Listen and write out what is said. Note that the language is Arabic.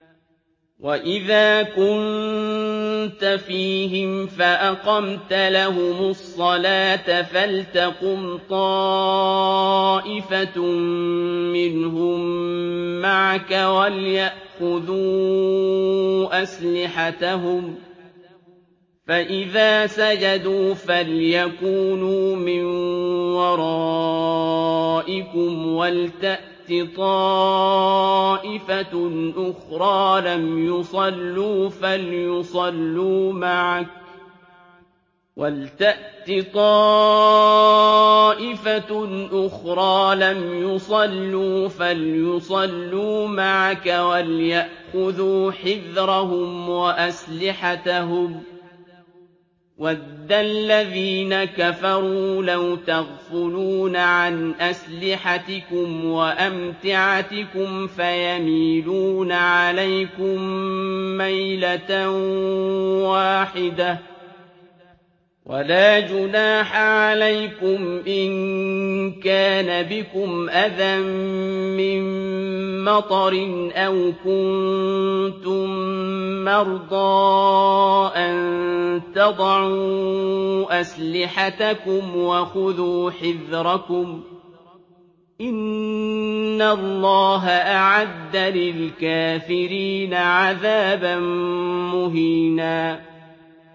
وَإِذَا كُنتَ فِيهِمْ فَأَقَمْتَ لَهُمُ الصَّلَاةَ فَلْتَقُمْ طَائِفَةٌ مِّنْهُم مَّعَكَ وَلْيَأْخُذُوا أَسْلِحَتَهُمْ فَإِذَا سَجَدُوا فَلْيَكُونُوا مِن وَرَائِكُمْ وَلْتَأْتِ طَائِفَةٌ أُخْرَىٰ لَمْ يُصَلُّوا فَلْيُصَلُّوا مَعَكَ وَلْيَأْخُذُوا حِذْرَهُمْ وَأَسْلِحَتَهُمْ ۗ وَدَّ الَّذِينَ كَفَرُوا لَوْ تَغْفُلُونَ عَنْ أَسْلِحَتِكُمْ وَأَمْتِعَتِكُمْ فَيَمِيلُونَ عَلَيْكُم مَّيْلَةً وَاحِدَةً ۚ وَلَا جُنَاحَ عَلَيْكُمْ إِن كَانَ بِكُمْ أَذًى مِّن مَّطَرٍ أَوْ كُنتُم مَّرْضَىٰ أَن تَضَعُوا أَسْلِحَتَكُمْ ۖ وَخُذُوا حِذْرَكُمْ ۗ إِنَّ اللَّهَ أَعَدَّ لِلْكَافِرِينَ عَذَابًا مُّهِينًا